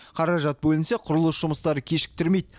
қаражат бөлінсе құрылыс жұмыстары кешіктірмейді